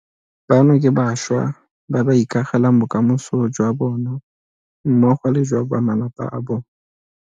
Bano ke bašwa ba ba ikagelang bokamoso jwa bona mmogo le jwa ba malapa a bona.